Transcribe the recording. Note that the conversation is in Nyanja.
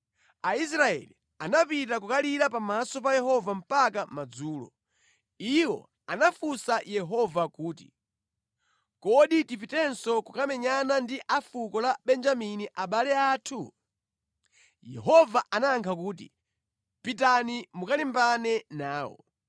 Aisraeli anapita kukalira pamaso pa Yehova mpaka madzulo. Iwo anafunsa Yehova kuti, “Kodi tipitenso kukamenyana ndi a fuko la Benjamini abale athu?” Yehova anayankha kuti, “Pitani mukalimbane nawo.”